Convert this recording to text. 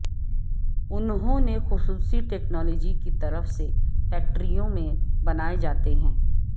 انہوں نے خصوصی ٹیکنالوجی کی طرف سے فیکٹریوں میں بنائے جاتے ہیں